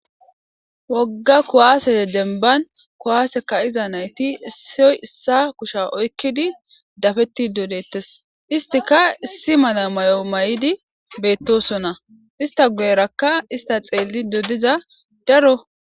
Wogga kuwaase denban kuwaase ka7iza nayti issoy issa kusha oykkidi dafetti dodettes istika issi mala may7o may7idi beettosona ista goerakka ista xeelli dodiza daro.